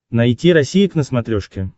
найти россия к на смотрешке